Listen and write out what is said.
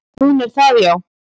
"""Hún er það, já."""